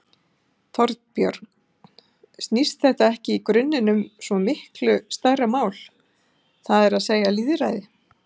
Þorbjörn: Snýst þetta ekki í grunninn um miklu stærra mál, það er að segja lýðræði?